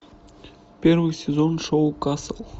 первый сезон шоу касл